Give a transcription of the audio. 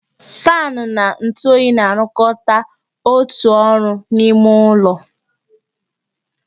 Faanụ na ntụ oyi na-arụkọta otu ụdị ọrụ n'ime ụlọ